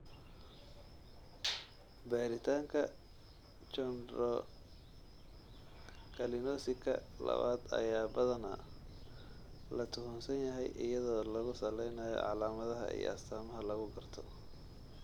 Baaritaanka chondrocalcinosika labaad ayaa badanaa la tuhunsan yahay iyadoo lagu salaynayo calaamadaha iyo astaamaha lagu garto.